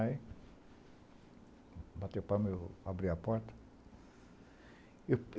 Aí, bateu palma e eu abri a porta.